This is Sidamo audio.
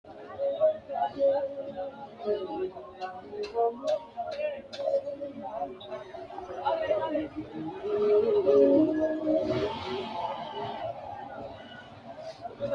afantino gashshaanonna annuwu giddo mitto ikkinohu sidaamu biroodikastingi korporeshiinete hedosi xawisanni illesira manaantsire wodhe badhesiinni biifadu bayeechi haanja hayiisso no